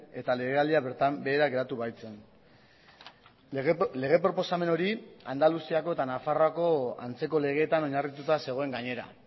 eta legealdia bertan behera geratu baitzen lege proposamen hori andaluziako eta nafarroako antzeko legeetan oinarrituta zegoen gainera